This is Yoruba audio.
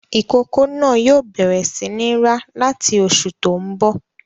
Ìkókó náà yóò bẹ̀rẹ̀ sí ní rá láti oṣù tó ń bọ̀.